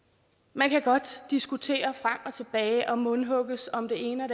man kan godt diskutere frem og tilbage og mundhugges om det ene